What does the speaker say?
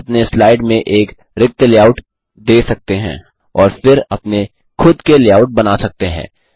आप अपने स्लाइड में एक रिक्त लेआउट दे सकते हैं और फिर अपने खुद के लेआउट बना सकते हैं